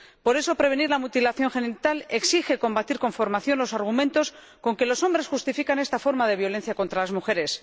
Por eso, prevenir la mutilación genital exige combatir con formación los argumentos con que los hombres justifican esta forma de violencia contra las mujeres.